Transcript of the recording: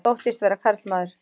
Þóttist vera karlmaður